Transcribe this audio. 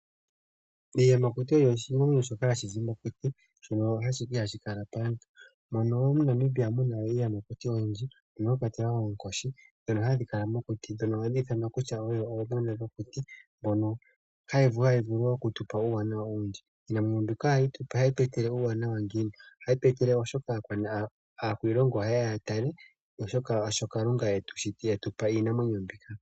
Iiyamakuti oyo iinamwenyo mbyoka hayi zi mokuti, mbyono ihayi kala paantu. MoNamibia omu na iiyamakuti oyindji, mono mwa kwatelwa oonkoshi, ndhono hadhi kala mokuti nohadhi ithanwa kutya odho ooyene gwokuti haya vulu okutu pa uuwanawa owundji. Iinamwenyo mbika ohayi tu etele uuwanawa ngiini? Ohayi tu etele oshoka aakwiilongo ohaye ya ya tale shoka Kalunga e tu pa iinamwenyo mbika.